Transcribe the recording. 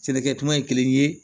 Sɛnɛkɛ tuma ye kelen ye